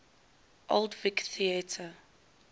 old vic theatre